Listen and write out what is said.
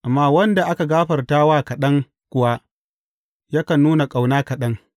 Amma wanda aka gafarta wa kaɗan kuwa, yakan nuna ƙauna kaɗan.